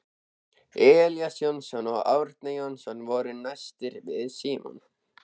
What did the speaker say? Elías Jónsson og Árni Jónsson voru næstir við Símon.